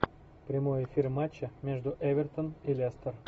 прямой эфир матча между эвертон и лестер